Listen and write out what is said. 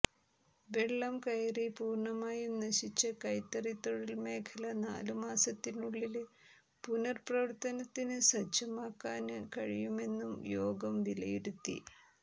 വെള്ളം കയറി പൂര്ണമായും നശിച്ച കൈത്തറി തൊഴില് മേഖല നാലു മാസത്തിനുള്ളില് പുനര് പ്രവര്ത്തനത്തിന് സജ്ജമാക്കാന് കഴിയുമെന്നും യോഗം വിലയിരുത്തി